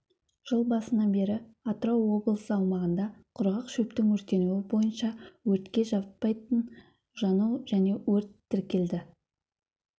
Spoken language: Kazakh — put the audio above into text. жыл басынан бері атырау облысы аумағында құрғақ шөптің өртенуі бойынша өртке жатпайтын жану және өрт тіркелді